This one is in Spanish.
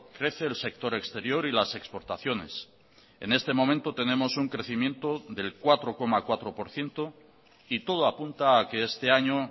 crece el sector exterior y las exportaciones en este momento tenemos un crecimiento del cuatro coma cuatro por ciento y todo apunta a que este año